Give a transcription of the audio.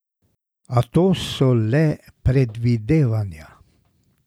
A to so le predvidevanja.